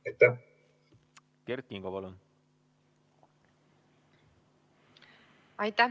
Kert Kingo, palun!